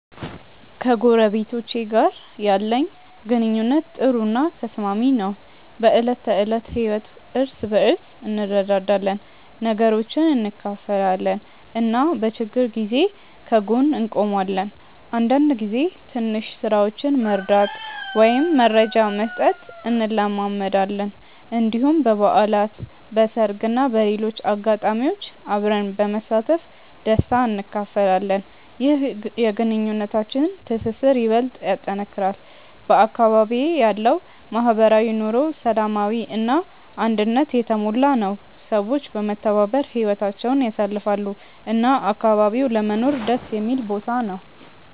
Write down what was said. ከጎረቤቶቼ ጋር ያለኝ ግንኙነት ጥሩ እና ተስማሚ ነው። በዕለት ተዕለት ህይወት እርስ በርስ እንረዳዳለን፣ ነገሮችን እንካፈላለን እና በችግር ጊዜ ከጎን እንቆማለን። አንዳንድ ጊዜ ትንሽ ስራዎችን መርዳት ወይም መረጃ መስጠት እንለማመዳለን። እንዲሁም በበዓላት፣ በሰርግ እና በሌሎች ልዩ አጋጣሚዎች አብረን በመሳተፍ ደስታ እንካፈላለን። ይህ የግንኙነታችንን ትስስር ይበልጥ ያጠናክራል። በአካባቢዬ ያለው ማህበራዊ ኑሮ ሰላማዊ እና አንድነት የተሞላ ነው፤ ሰዎች በመተባበር ህይወታቸውን ያሳልፋሉ እና አካባቢው ለመኖር ደስ የሚል ቦታ ነው።